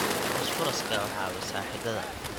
Fosfooraska waxay caawisaa xididdada.